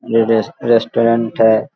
ये res restaurant है।